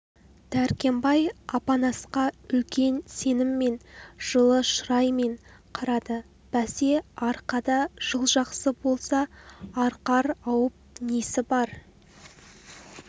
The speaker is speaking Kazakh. дәркембай апанасқа үлкен сеніммен жылы шыраймен қарады бәсе арқада жыл жақсы болса арқар ауып несі бар